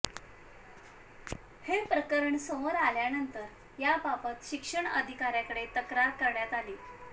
हे प्रकरण समोर आल्यानंतर याबाबत शिक्षण अधिकाऱ्यांकडे तक्रार करण्यात आली